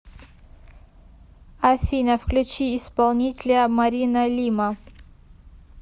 афина включи исполнителя марина лима